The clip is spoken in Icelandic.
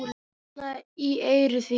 Hvísla í eyru þín.